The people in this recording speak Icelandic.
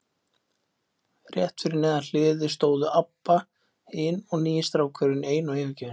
Rétt fyrir neðan hliðið stóðu Abba hin og nýi strákurinn ein og yfirgefin.